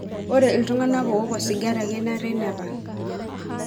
Ore ltunganak owok osigara kenare nepal.